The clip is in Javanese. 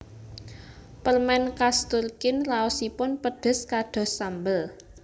Permen khas Turkin raosipun pedes kados sambel